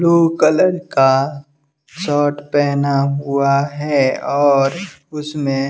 blue colour का shirt पहना हुआ है और उसमें--